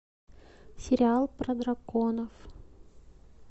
сериал про драконов